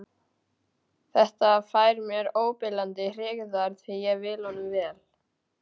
Þetta fær mér óbilandi hryggðar því ég vil honum vel.